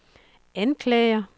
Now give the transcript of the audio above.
anklager